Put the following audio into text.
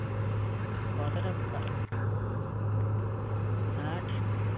কথাটা হ্যাঁ